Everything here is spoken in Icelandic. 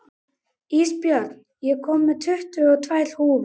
Ísbjörn, ég kom með tuttugu og tvær húfur!